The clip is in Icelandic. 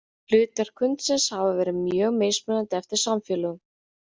Hlutverk hundsins hafa verið mjög mismunandi eftir samfélögum.